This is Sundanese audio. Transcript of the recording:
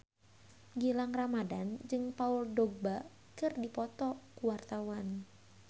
Gilang Ramadan jeung Paul Dogba keur dipoto ku wartawan